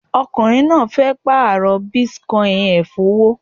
Arákùnrin náà fẹ́ pààrọ̀ Bitcoin rẹ̀ fówó